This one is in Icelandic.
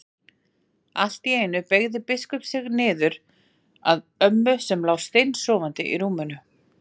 Allt í einu beygði biskupinn sig niður að ömmu sem lá steinsofandi í rúminu.